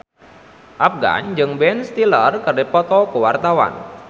Afgan jeung Ben Stiller keur dipoto ku wartawan